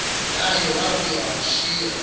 naye wabuya wamshiya